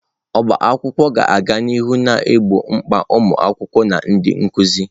Ọbá akwụkwọ ga-aga n'ihu na-egbo mkpa ụmụ akwụkwọ na ndị nkuzi